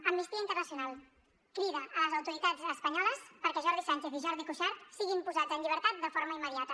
amnistia internacional crida les autoritats espanyoles perquè jordi sànchez i jordi cuixart siguin posats en llibertat de forma immediata